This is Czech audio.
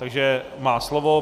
Takže má slovo.